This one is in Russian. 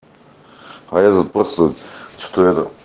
а я тут просто что то это